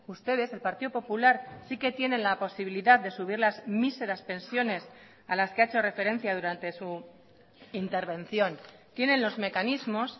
ustedes el partido popular sí que tienen la posibilidad de subir las míseras pensiones a las que ha hecho referencia durante su intervención tienen los mecanismos